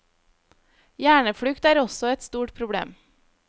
Hjerneflukt er også et stort problem.